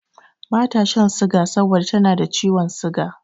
Bata shan siga saboda tana da ciwon siga.